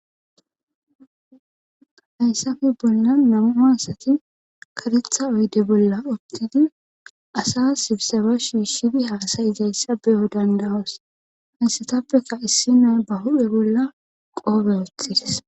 hayssafe bolla namua asati karetha oyde bolla ottidi asa sibsaba shiishidi haasay izayssa beyo dandawoos hayssetappeka issi naa ba hudhe bolla qoobe woththidis.